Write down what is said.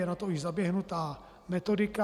Je na to již zaběhnutá metodika.